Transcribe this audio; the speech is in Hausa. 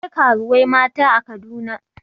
Akwai karuwai mata a Kaduna.